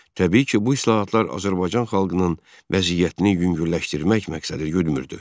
Təbii ki, bu islahatlar Azərbaycan xalqının vəziyyətini yüngülləşdirmək məqsədi güdmürdü.